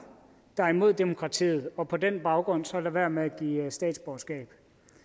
der er imod demokratiet og på den baggrund så lade være med at give statsborgerskab